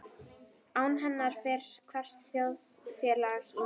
Án hennar fer hvert þjóðfélag í mola.